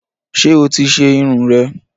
Ṣé o ti ṣe Irun rè?